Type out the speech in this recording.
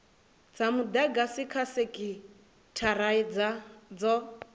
dza mudagasi kha sekithara dzo